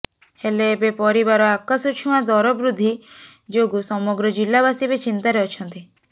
ହେଲେ ଏବେ ପରିବାର ଆକାଶଛୁଆଁ ଦରବୃଦ୍ଧି ଯୋଗୁଁ ସମଗ୍ର ଜିଲ୍ଲାବାସୀ ଏବେ ଚିନ୍ତାରେ ଅଛନ୍ତି